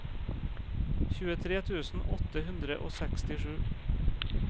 tjuetre tusen åtte hundre og sekstisju